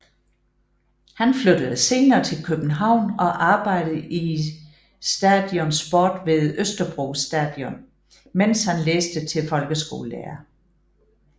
Han flyttede senere til København og arbejdede i Stadion Sport ved Østerbro Stadion mens han læste til folkeskolelærer